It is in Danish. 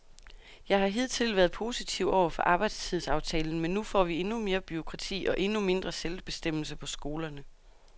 Jeg har hidtil været positiv over for arbejdstidsaftalen, men nu får vi endnu mere bureaukrati og endnu mindre selvbestemmelse på skolerne.